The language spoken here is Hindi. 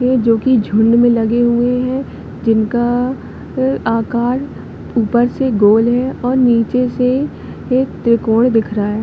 वे जोकि झुंड में लगे हुए है जिनका अ आकार ऊपर से गोल है और नीचे से एक त्रिकोण दिख रहा हैं।